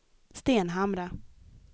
Stenhamra